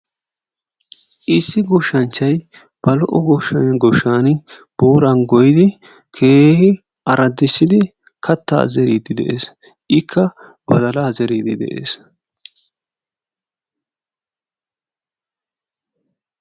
Issi goshshanchchayi ba lo"o goshshaani booran goyyidi keehin araddissidi kattaa zeriiddi de"es. Ikka badalaa zeriiddi de"es.